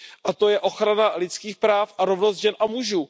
A to je ochrana lidských práv a rovnost žen a mužů.